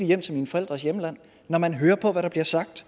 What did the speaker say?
hjem til mine forældres hjemland man kan høre på hvad der bliver sagt